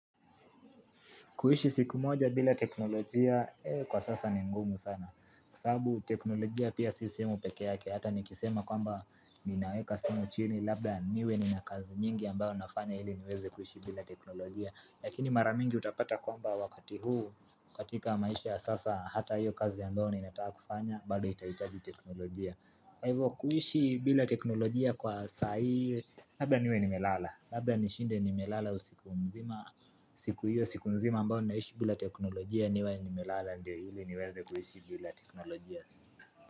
Kuishi siku moja bila teknolojia, kwa sasa ni ngumu sana. Sababu teknolojia pia si simu pekee yake, hata nikisema kwamba ninaweka simu chini labda niwe nina kazi nyingi ambayo nafanya ili niweze kuishi bila teknolojia. Lakini mara mingi utapata kwamba wakati huu, katika maisha ya sasa hata hiyo kazi ambayo ninataka kufanya, bado itahitaji teknolojia. Kwa hivyo kuishi bila teknolojia kwa saa hii, labda niwe nimelala. Labda nishinde nimelala usiku mzima siku hivyo siku nzima ambao naishi bila teknolojia niwe nimelala Ndio ili niweze kuishi bila teknolojia.